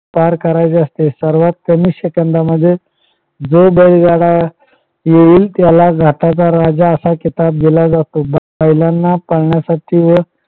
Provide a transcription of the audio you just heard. पार करायचे असते. सर्वात कमी सेकंदामध्ये जो बैलगाडा येईल त्याला घाटाचा राजा असा किताब दिला जातो. बैलांना पळण्यासाठी व